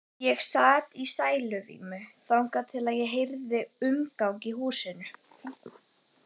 Ég sat í sæluvímu þangað til ég heyrði umgang í húsinu.